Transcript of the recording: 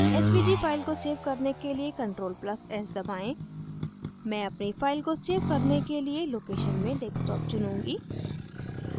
svg file को svg करने के लिए ctrl + s दबाएं मैं अपनी file को svg करने के लिए location में desktop चुनूँगी